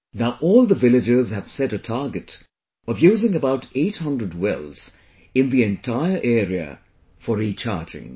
Now all the villagers have set a target of using about 800 wells in the entire area for recharging